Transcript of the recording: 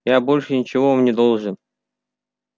я больше ничего вам не должен